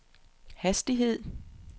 hastighed